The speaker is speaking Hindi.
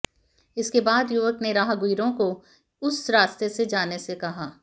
इसके बाद युवक ने राहगीरों को उस रास्ते से जाने से रोका